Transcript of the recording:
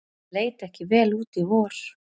Leit ekki vel út í vor